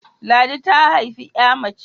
Ladi ta haifi 'ya mace